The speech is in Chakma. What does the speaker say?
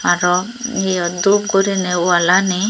aroo eyot dup gurine wallani.